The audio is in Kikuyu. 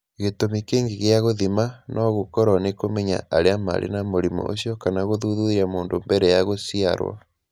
Gĩtũmi kĩngĩ gĩa gũthima no gũkorũo nĩ kũmenya arĩa marĩ na mũrimũ ũcio kana gũthuthuria mũndũ mbere ya gũciarũo.